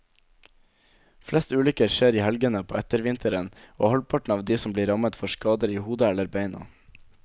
Flest ulykker skjer i helgene på ettervinteren, og halvparten av de som blir rammet får skader i hodet eller beina.